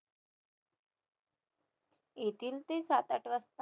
येतील ते सात-आठ वाजता